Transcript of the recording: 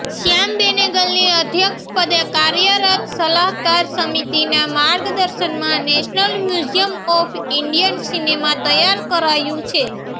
શ્યામ બેનેગલની અધ્યક્ષપદે કાર્યરત સલાહકાર સમિતિનાં માર્ગદર્શનમાં national museum of Indian cinema તૈયાર કરાયું છે